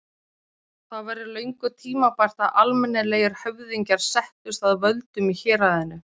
Það væri löngu tímabært að almennilegir höfðingjar settust að völdum í héraðinu.